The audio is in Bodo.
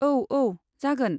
औ, औ, जागोन।